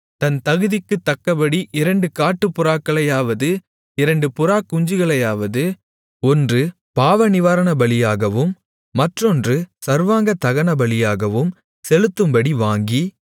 தன் தகுதிக்குத் தக்கபடி இரண்டு காட்டுப்புறாக்களையாவது இரண்டு புறாக்குஞ்சுகளையாவது ஒன்று பாவநிவாரணபலியாகவும் மற்றொன்று சர்வாங்கதகனபலியாகவும் செலுத்தும்படி வாங்கி